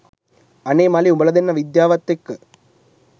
අනේ මලේ උඹලා දන්නා විද්‍යාවත් එක්ක